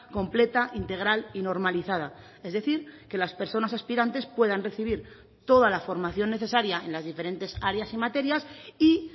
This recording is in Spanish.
completa integral y normalizada es decir que las personas aspirantes puedan recibir toda la formación necesaria en las diferentes áreas y materias y